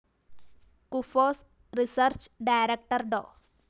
KUFOS research director Dr